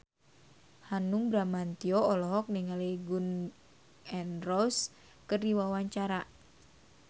Hanung Bramantyo olohok ningali Gun N Roses keur diwawancara